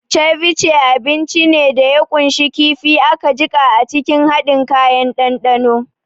Ceviche abinci ne da ya ƙunshi kifi aka jiƙa a cikin haɗin kayan dandano.